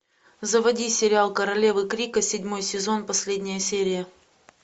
заводи сериал королевы крика седьмой сезон последняя серия